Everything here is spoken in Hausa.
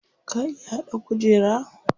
Ka iya haɗa kujera?